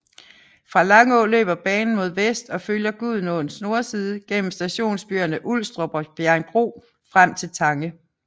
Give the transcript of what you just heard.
Fra Langå løber banen mod vest og følger Gudenåens nordside gennem stationsbyerne Ulstrup og Bjerringbro frem til Tange